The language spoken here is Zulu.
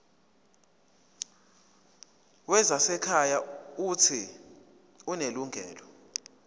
wezasekhaya uuthi unelungelo